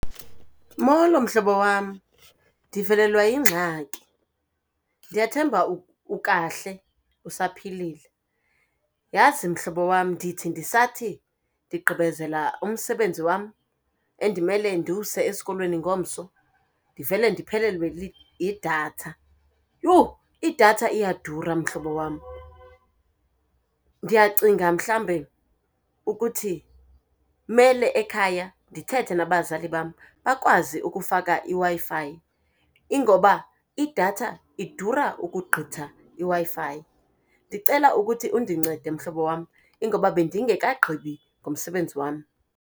Molo mhlobo wam. Ndivelelwa yingxaki, ndiyathemba ukahle, usaphilile. Yazi mhlobo wam ndithi ndisathi ndigqibezela umsebenzi wam endimele ndiwuse esikolweni ngomso ndivele ndiphelelwe yidatha. Yhu! Idatha iyadura mhlobo wam. Ndiyacinga mhlawumbe ukuthi mele ekhaya ndithethe nabazali bam bakwazi ukufaka iWi-Fi, ingoba idatha idura ukugqitha iWi-Fi. Ndicela ukuthi undincede mhlobo wam, ingoba bendingekagqibi ngomsebenzi wam.